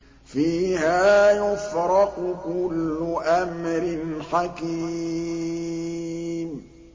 فِيهَا يُفْرَقُ كُلُّ أَمْرٍ حَكِيمٍ